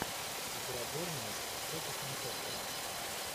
игра борнмут против манчестера